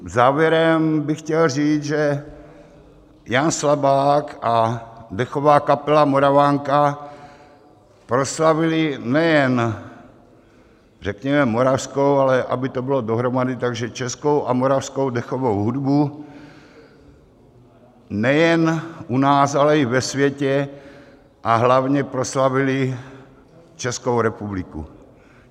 Závěrem bych chtěl říct, že Jan Slabák a dechová kapela Moravanka proslavili nejen řekněme moravskou, ale aby to bylo dohromady, takže českou a moravskou dechovou hudbu nejen u nás, ale i ve světě, a hlavně proslavili Českou republiku.